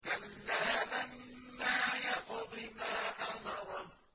كَلَّا لَمَّا يَقْضِ مَا أَمَرَهُ